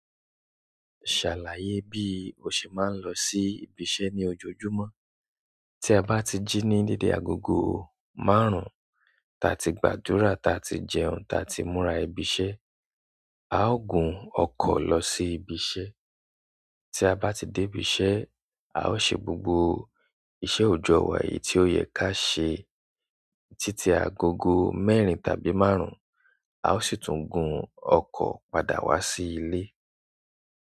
Ṣàlàyé bí o ṣe máa ń lọ sí ibi iṣẹ́ ní ojoojúmọ́. Tí a bá ti jí ní dede agogo márùn-ún, ta ti gbàdúrà, ta ti jẹun, ta ti múra ibi iṣẹ́, a ó gun ọkọ̀ lọ sí ibi iṣẹ́. Tí a bá ti dé ibi iṣẹ́, a ó ṣe gbogbo iṣẹ́ òjò wà tí ó yẹ ká ṣe títí agogo mẹ́rin tàbí márùn-ún, a ó sì tún gun ọkọ̀ padà wá sí ilé.